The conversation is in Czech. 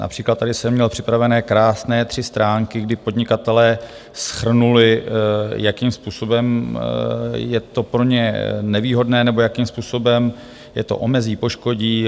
Například tady jsem měl připravené krásné tři stránky, kdy podnikatelé shrnuli, jakým způsobem je to pro ně nevýhodné nebo jakým způsobem je to omezí, poškodí.